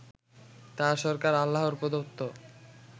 তাঁর সরকার আল্লাহর প্রদত্ত